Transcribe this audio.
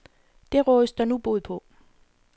Det rådes der nu bod på.